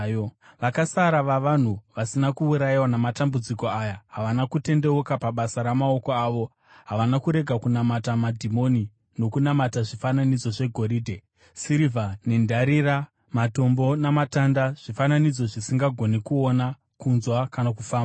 Vakasara vavanhu vasina kuurayiwa namatambudziko aya havana kutendeuka pabasa ramaoko avo; havana kurega kunamata madhimoni, nokunamata zvifananidzo zvegoridhe, sirivha, nendarira, matombo namatanda, zvifananidzo zvisingagoni kuona, kunzwa kana kufamba.